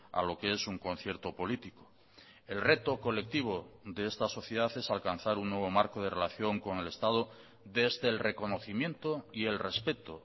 a lo que es un concierto político el reto colectivo de esta sociedad es alcanzar un nuevo marco de relación con el estado desde el reconocimiento y el respeto